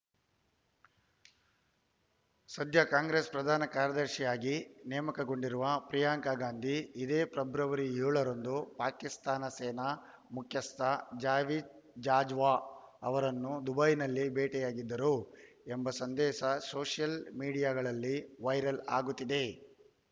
ಸದ್ಯ ಕಾಂಗ್ರೆಸ್‌ ಪ್ರಧಾನ ಕಾರ್ಯದರ್ಶಿಯಾಗಿ ನೇಮಕಗೊಂಡಿರುವ ಪ್ರಿಯಾಂಕಾ ಗಾಂಧಿ ಇದೇ ಫೆಬ್ರವರಿ ಏಳರಂದು ಪಾಕಿಸ್ತಾನ ಸೇನಾ ಮುಖ್ಯಸ್ಥ ಜಾವೇದ್‌ ಬಾಜ್ವಾ ಅವರನ್ನು ದುಬೈನಲ್ಲಿ ಭೇಟಿಯಾಗಿದ್ದರು ಎಂಬ ಸಂದೇಶ ಸೋಷಿಯಲ್‌ ಮೀಡಿಯಾಗಳಲ್ಲಿ ವೈರಲ್‌ ಆಗುತ್ತಿದೆ